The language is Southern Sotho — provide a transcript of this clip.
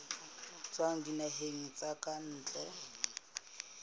tswa dinaheng tsa ka ntle